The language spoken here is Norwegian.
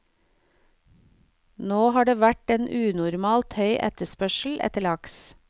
Nå har det vært en unormalt høy etterspørsel etter laks.